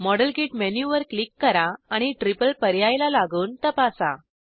model kit मेनूवर click करा आणि ट्रिपल पर्यायला लागून तपासा